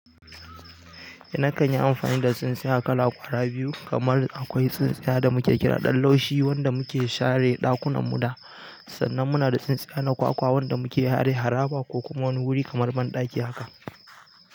Eh na kan yi amfani da tsintsiya kala ƙwara biyu kamar akwai tsintsiya da mu ke kira ɗan laushi wanda mu ke share ɗakunanmu da, sannan muna da tsintsiya na kwakwa wanda mu ke share haraba ko kuma wani wuri kamar banɗaki haka.